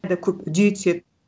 көп үдей түседі